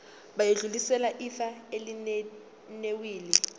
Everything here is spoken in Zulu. bayodlulisela ifa elinewili